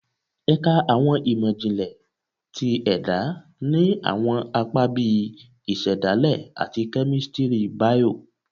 Ẹka Awọn imọ-jinlẹ ti Ẹda ni awọn apa bii Isedale ati Kemistri Bio